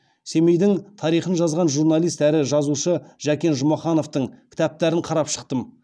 семейдің тарихын жазған журналист әрі жазушы жекен жұмахановтың кітаптарын қарап шықтым